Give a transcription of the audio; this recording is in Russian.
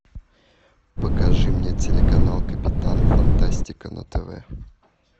покажи мне телеканал капитан фантастика на тв